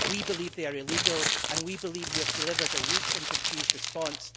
We believe they are illegal and we believe you have delivered a weak and confused response.